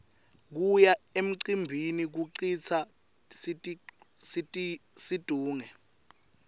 kuya emcimbini kucitsa situnge